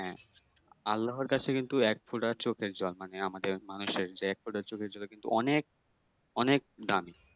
হ্যাঁ আল্লাহ এর কাছে কিন্তু এক ফোঁটা চোখের জল মানে আমাদের মানুষের যে এক ফোঁটা চোখের জল কিন্তু অনেক অনেক দামি